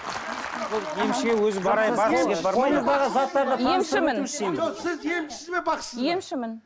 ол емшіге өзі сіз емшісіз бе бақсысыз ба емшімін